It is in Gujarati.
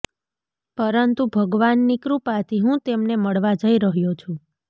પરંતુ ભગવાનની કૃપાથી હું તેમને મળવા જઈ રહ્યો છું